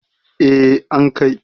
eh an Kai